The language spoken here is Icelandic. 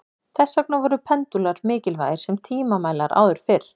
Þess vegna voru pendúlar mikilvægir sem tímamælar áður fyrr.